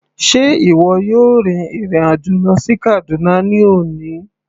Sé ìwọ yóò rin ìrìn àjò lọ sí Kaduna ní òní.